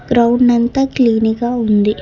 Ground అంతా clean గా ఉంది.